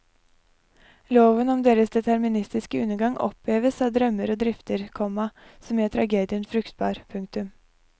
Loven om deres deterministiske undergang oppheves av drømmer og drifter, komma som gjør tragedien fruktbar. punktum